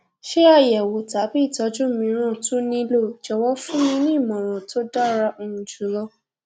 ṣé àyẹwò tàbí ìtọjú mìíràn tún nílò jọwọ fún mi ní ìmọràn tó dára um jù lọ